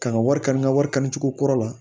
Kan ka wari kari n ka wari kanu cogo kura la